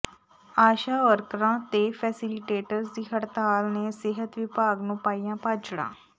ਆਸ਼ਾ ਵਰਕਰਾਂ ਤੇ ਫੈਸੀਲੀਟੇਟਰਜ ਦੀ ਹੜਤਾਲ ਨੇ ਸਿਹਤ ਵਿਭਾਗ ਨੂੰ ਪਾਈਆਂ ਭਾਜੜਾਂ